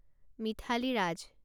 Mithali Raj